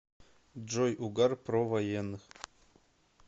джой угар про военных